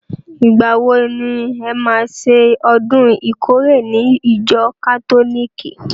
Ìgbà wo ni e má ṣe ọdún ìkórè ní ìjọ kátólìkì?